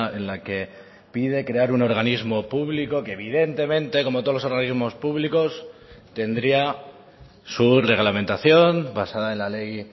en la que pide crear un organismo público que evidentemente como todos los organismos públicos tendría su reglamentación basada en la ley